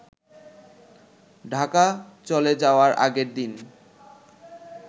ঢাকা চলে যাওয়ার আগের দিন